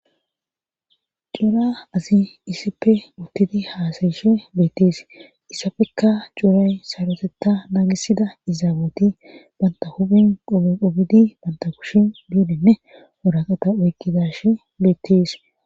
Cora asi issippe utti haasa7ishe beettees hessafekka coray sarotetta nanggisda izaawati bantta qoobe qobidi bantta kushen luukenne waraqata oykkidaashi beeteesi.